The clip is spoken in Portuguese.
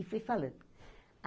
E fui falando.